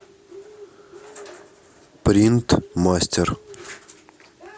принтмастер